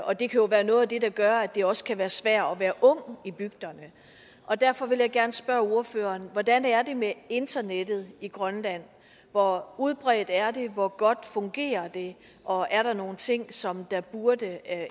og det kan jo være noget af det der gør at det også kan være svært at være ung i bygderne derfor vil jeg gerne spørge ordføreren hvordan det er med internettet i grønland hvor udbredt er det hvor godt fungerer det og er der nogen ting som der burde